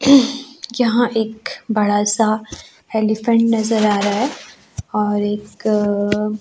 यहां एक बड़ा सा हेलिफेंट नजर आ रहा है और एक --